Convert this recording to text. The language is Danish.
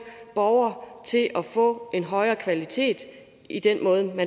borgere til at få en højere kvalitet i den måde man